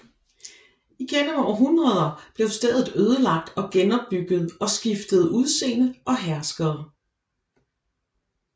Igennem århundreder blev stedet ødelagt og genopbygget og skiftede udseende og herskere